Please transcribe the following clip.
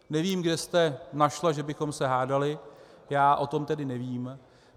Nevím, kde jste našla, že bychom se hádali, já o tom tedy nevím.